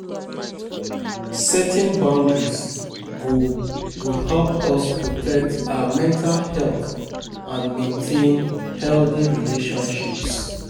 Setting boundaries go go help us protect our mental health and maintain healthy relationships.